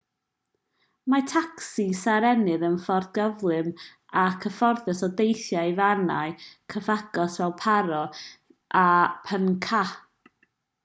mae tacsis a rennir yn ffordd gyflym a chyfforddus o deithio i fannau cyfagos fel paro nu 150 a punakha nu 200